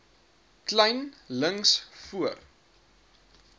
kleyn links voor